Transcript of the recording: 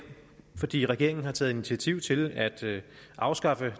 fordi regeringen har taget initiativ til at afskaffe